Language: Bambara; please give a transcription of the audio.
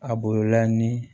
A bolola ni